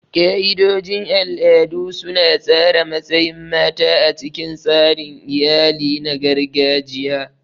Ka'idojin al'adu su na tsara matsayin mata a cikin tsarin iyali na gargajiya.